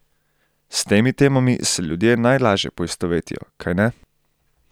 S temi temami se ljudje najlažje poistovetijo, kajne?